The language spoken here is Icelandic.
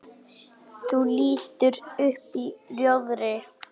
Þú lítur upp í rjóðri.